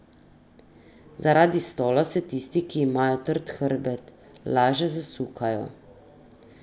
Zaradi stola se tisti, ki imajo trd hrbet, laže zasukajo.